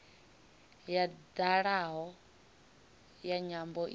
ya dalaho ya nyambo idzi